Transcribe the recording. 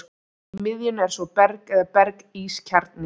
Í miðjunni er svo berg eða berg-ís kjarni.